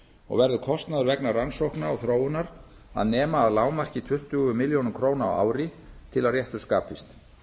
og verður kostnaður vegna rannsókna og þróunar að nema að lágmarki tuttugu milljónum króna á ári til að réttur skapist